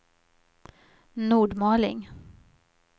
Nordmaling